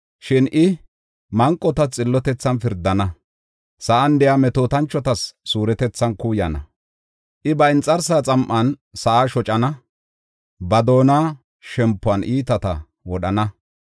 Shin I, manqotas xillotethan pirdana; sa7an de7iya metootanchotas suuretethan kuuyana. I ba inxarsaa xam7an sa7aa shocana; ba doona shempuwan iitata wodhana.